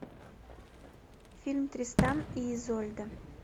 фильм тристан и изольда